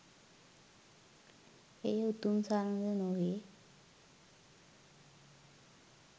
එය උතුම් සරණ ද නොවේ